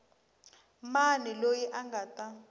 mani loyi a nga ta